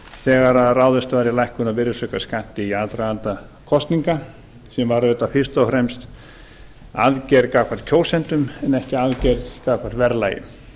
þegar ráðist var í lækkun á virðisaukaskatti í aðdraganda kosninga sem var auðvitað fyrst og fremst aðgerð gagnvart kjósendum en ekki aðgerð gagnvart verðlaginu